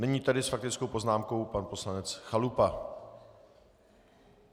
Nyní tedy s faktickou poznámkou pan poslanec Chalupa.